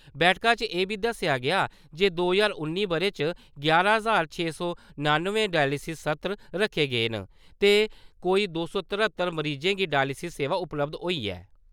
बैठका च एह् बी दस्सेआ गेआ जे दो ज्हार उन्नी ब'रे च यारां ज्हार छे सौ नानुएं डायलिसिस सत्र रक्खे गे न ते कोई दो सौ तरह्त्तर मरीजें गी डायलिसिस सेवां उपलब्ध होई ऐ ।